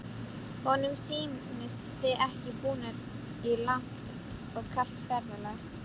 Honum sýnist þið ekki búnir í langt og kalt ferðalag.